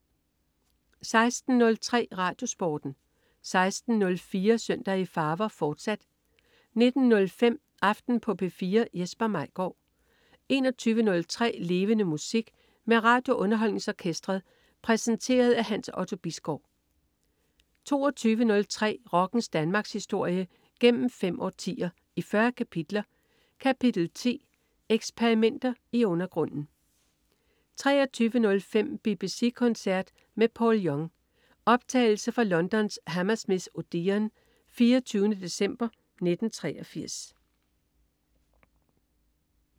16.03 RadioSporten 16.04 Søndag i farver, fortsat 19.05 Aften på P4. Jesper Maigaard 21.03 Levende Musik. Med RadioUnderholdningsOrkestret. Præsenteret af Hans Otto Bisgaard 22.03 Rockens Danmarkshistorie, gennem fem årtier, i 40 kapitler. Kapitel 10: Eksperimenter i undergrunden 23.05 BBC koncert med Paul Young. Optagelse fra Londons Hammersmith Odeon, 24. december 1983